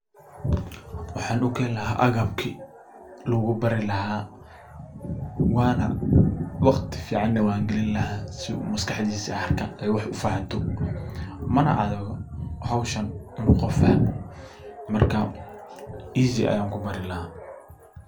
Waxan ukeni laha agabki lugubaani laha waxana galini laha dadaal uu kubarto mana adko inu barto qofka howshani.